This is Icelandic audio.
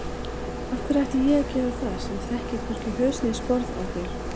Af hverju ætti ég að gera það sem þekki hvorki haus né sporð á þér